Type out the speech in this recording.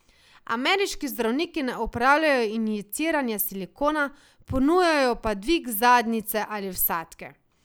Ameriški zdravniki ne opravljajo injiciranja silikona, ponujajo pa dvig zadnjice ali vsadke.